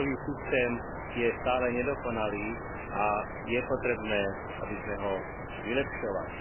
Azylový systém je stále nedokonalý a je potrebné, aby sme ho vylepšovali.